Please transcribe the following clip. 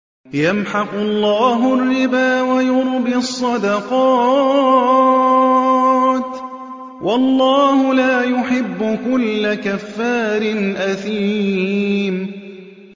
يَمْحَقُ اللَّهُ الرِّبَا وَيُرْبِي الصَّدَقَاتِ ۗ وَاللَّهُ لَا يُحِبُّ كُلَّ كَفَّارٍ أَثِيمٍ